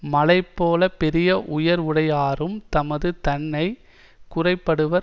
மலைபோலப் பெரிய உயர்வுடையாரும் தமது தன்னை குறைபடுவர்